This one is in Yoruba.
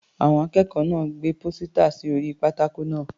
Àwọn akẹ́kọ̀ọ́ náà gbé pósítà sí orí pátákó náà.